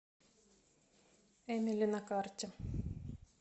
эмили на карте